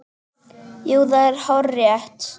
Jú, það er hárrétt